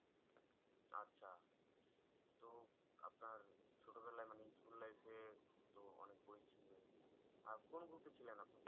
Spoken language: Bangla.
আচ্ছা তো আপনার ছোট বেলায় মানে school life এ তো অনেক বই ছিল। আর কোন group এ ছিলেন আপনি